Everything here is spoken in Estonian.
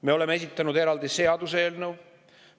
Me oleme esitanud eraldi seaduseelnõu.